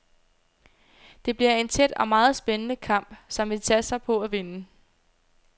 Det bliver en tæt og meget spændende kamp, som vi satser på at vinde.